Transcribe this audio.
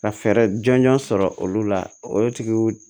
Ka fɛɛrɛ jɔnjɔn sɔrɔ olu la o tigiw